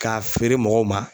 K'a feere mɔgɔw ma